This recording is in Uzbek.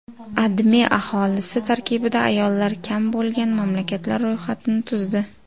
AdMe aholisi tarkibida ayollar kam bo‘lgan mamlakatlar ro‘yxatini tuzdi .